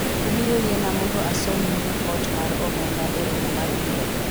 ubiro yiena mondo asomnu ripot mar omenda e romo mabiro